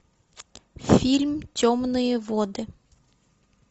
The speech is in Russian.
фильм темные воды